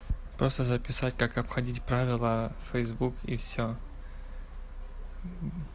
просто записать как обходить правила фэйсбук и всё